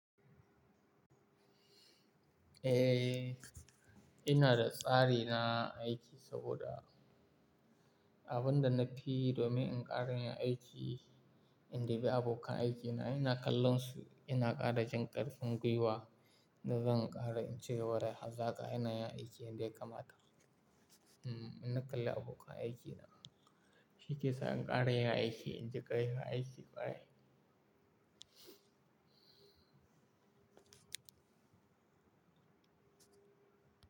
Eh, ina da tsari na aiki saboda abin da nafi yi domin in ƙara yin aiki, in dubi abokan aikina, ina kallon su ina ƙara jin ƙarfin gwiwa, da zan ƙara in cigaba da hazaƙa ina yin aiki yanda ya kamata. Mm, idan na kalli abokan aikina. Shi ke sa in ƙara yin aiki, in cika yin aiki ƙwarai.